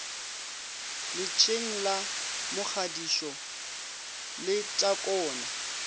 letsheng la mogadisho le takone